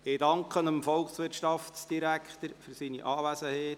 Ich danke dem Volkswirtschaftsdirektor für seine Anwesenheit.